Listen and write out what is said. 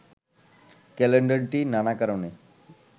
ক্যালেন্ডারটি নানা কারণে